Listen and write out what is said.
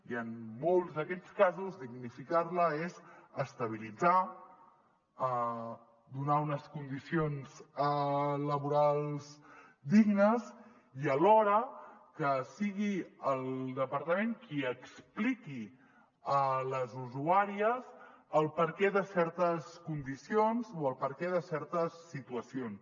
i en molts d’aquests casos dignificar la és estabilitzar donar unes condicions laborals dignes i alhora que sigui el departament qui expliqui a les usuàries el perquè de certes condicions o el perquè de certes situacions